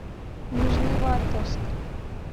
нижневартовск